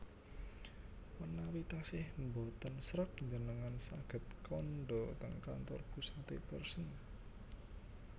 menawi tasih mboten sreg njenengan saget kandha teng kantor pusate Pearson